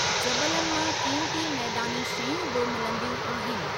जबलनि मां क़ीमती मैदानी शयूं बि मिलंंदियूं आहिनि।